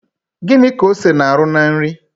Gịnị ka ose na-arụ na nri?